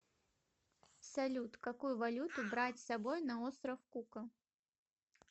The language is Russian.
салют какую валюту брать с собой на остров кука